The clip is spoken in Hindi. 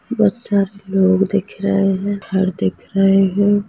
बहोत सारे लोग दिख रहे हैं घर दिख रहे हैं।